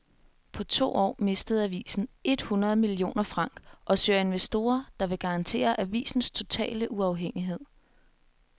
På to år mistede avisen et hundrede millioner franc og søger investorer, der vil garantere avisens totale uafhængighed.